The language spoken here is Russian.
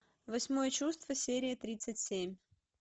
восьмое чувство серия тридцать семь